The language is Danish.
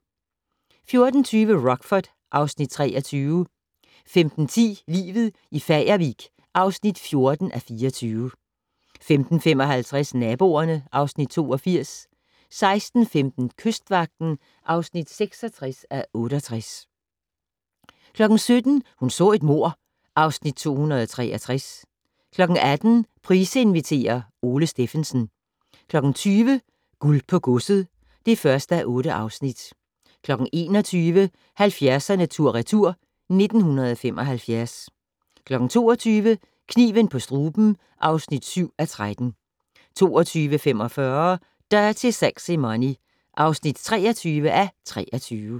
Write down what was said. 14:20: Rockford (Afs. 23) 15:10: Livet i Fagervik (14:24) 15:55: Naboerne (Afs. 82) 16:15: Kystvagten (66:68) 17:00: Hun så et mord (Afs. 263) 18:00: Price inviterer - Ole Stephensen 20:00: Guld på godset (1:8) 21:00: 70'erne tur/retur: 1975 22:00: Kniven på struben (7:13) 22:45: Dirty Sexy Money (23:23)